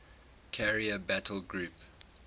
carrier battle group